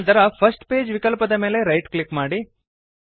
ನಂತರ first page ವಿಕಲ್ಪದ ಮೇಲೆ ರೈಟ್ ಕ್ಲಿಕ್ ಮಾಡಿ